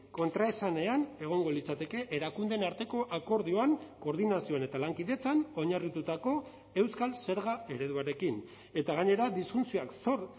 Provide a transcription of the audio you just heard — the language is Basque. kontraesanean egongo litzateke erakundeen arteko akordioan koordinazioen eta lankidetzan oinarritutako euskal zerga ereduarekin eta gainera disfuntsioak sor